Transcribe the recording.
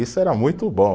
Isso era muito bom.